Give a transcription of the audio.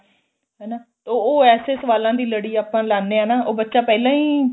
ਹਨਾ ਉਹ ਐਸੇ ਸਵਾਲਾਂ ਦੀ ਲੜੀ ਆਪਾਂ ਲਾਨੇ ਆ ਨਾ ਬੱਚਾ ਪਹਿਲਾਂ ਈ